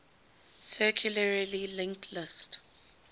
circularly linked list